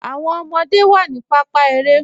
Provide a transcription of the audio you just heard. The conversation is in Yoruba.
Awọn ọmọde wa ni pàpá èrè.